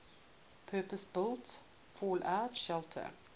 purpose built fallout shelter